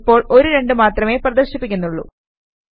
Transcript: ഇപ്പോൾ ഒരു 2 മാത്രമേ പ്രദർശിപ്പിക്കുന്നുള്ളൂ